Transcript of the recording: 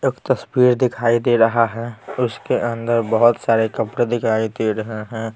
एक तस्वीर दिखाई दे रहा है उसके अंदर बहुत सारे कपड़े दिखाई दे रहे हैं ।